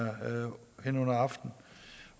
her hen under aften